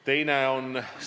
Meil on see kokku lepitud.